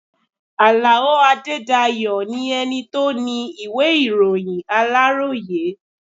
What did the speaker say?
Àlàó Adédayọ̀ ni ẹni tó ni ìwé ìròyìn Aláròyé.